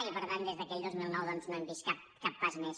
i per tant des d’aquell dos mil nou doncs no hem vist cap pas més